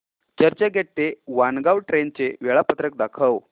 चर्चगेट ते वाणगांव ट्रेन चे वेळापत्रक दाखव